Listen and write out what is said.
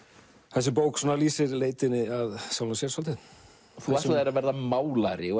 þessi bók lýsir leitinni að sjálfum sér svolítið þú ætlaðir að verða málari og